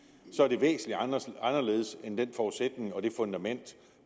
at anderledes end den forudsætning og det fundament